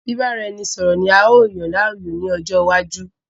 Bìbáraẹnisọọ̀rọ̀ ni a yóò yàn láàyò ní ọjọ́ iwájú